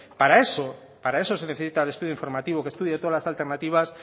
para eso para eso se necesita el estudio informativo que estudie todas las alternativas